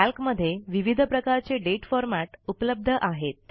कॅल्कमध्ये विविध प्रकारचे दाते फॉरमॅट उपलब्ध आहेत